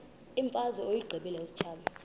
imfazwe uyiqibile utshaba